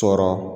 Sɔrɔ